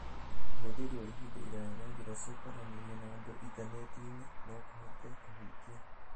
Ũhũthĩri wa ihinda iraya na njĩra cia kwaranĩria na andũ intaneti-inĩ no kũhote kũhutia